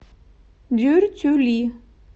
дюртюли